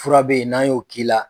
Fura be ye n'an y'o k'i la